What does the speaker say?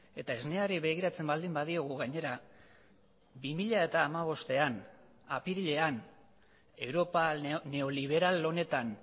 eta esneari begiratzen baldin badiogu gainera bi mila hamabostean apirilean europa neoliberal honetan